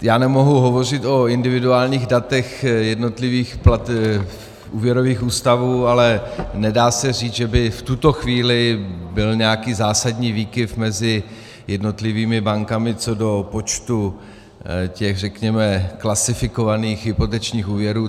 Já nemohu hovořit o individuálních datech jednotlivých úvěrových ústavů, ale nedá se říci, že by v tuto chvíli byl nějaký zásadní výkyv mezi jednotlivými bankami co do počtu těch, řekněme, klasifikovaných hypotečních úvěrů.